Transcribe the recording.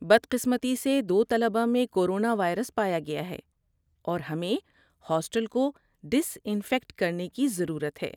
بد قسمتی سے، دو طلبہ میں کورونا وائرس پایا گیا ہے، اور ہمیں ہاسٹل کو ڈس انفیکٹ کرنے کی ضرورت ہے۔